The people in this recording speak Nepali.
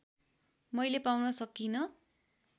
मैले पाउन सकिँन